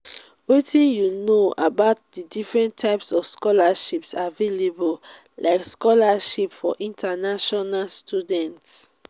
wetin you know about di different types of scholarships available like scholarships for international students?